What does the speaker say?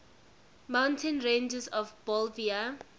mountain ranges of bolivia